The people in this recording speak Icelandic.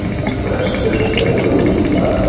Frestur rennur út í dag.